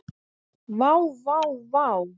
Vá, vá vá.